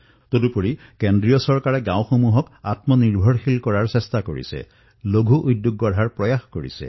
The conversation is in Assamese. ইয়াৰোপৰি কেন্দ্ৰ চৰকাৰে এতিয়া যি সিদ্ধান্ত গ্ৰহণ কৰিছে তাৰ জৰিয়তে গাঁৱত কৰ্ম সংস্থাপন লঘূ উদ্যোগৰ সৈতে বিশাল সম্ভাৱনা মুকলি হৈছে